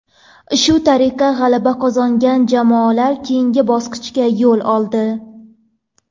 Shu tariqa g‘alaba qozongan jamoalar keyingi bosqichga yo‘l oldi.